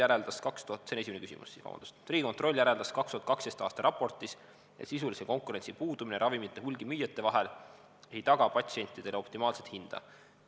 Esimene küsimus: "Riigikontroll järeldas 2012. aasta raportis, et sisulise konkurentsi puudumine ravimite hulgimüüjate vahel ei taga patsientidele optimaalset hinda.